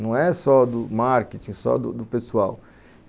Não é só do marketing, só do pessoal.